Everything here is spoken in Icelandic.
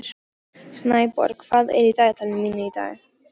Snæborg, hvað er í dagatalinu mínu í dag?